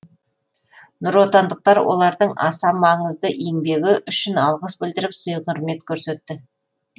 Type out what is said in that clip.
нұротандықтар олардың аса маңызды еңбегі үшін алғыс білдіріп сый құрмет көрсетті